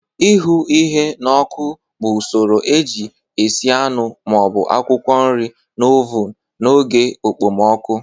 Ihu ihe n'oku bụ usoro eji esi anụ ma ọ bụ akwụkwọ nri na oven na oke okpomọkụ